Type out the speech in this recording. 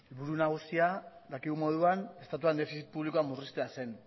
helburu nagusia dakigun moduan estatuan defizit publikoa murriztea zen